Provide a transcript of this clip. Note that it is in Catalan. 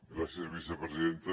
gràcies vicepresidenta